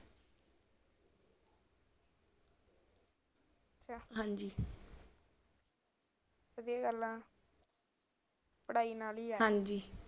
ਹਾਂਜੀ ਕੀ ਕਰਨਾ ਪੜਾਈ ਨਾਲ ਦੇ